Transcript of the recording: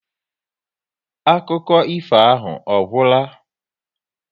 Akụkọ ifo ahụ ọ gwụla?